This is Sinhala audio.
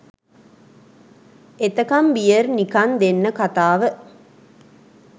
එතකම් බියර් නිකන් දෙන්න කතාව